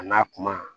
A n'a kuma